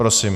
Prosím.